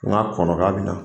Kuma kɔlɔlɔ bɛ na.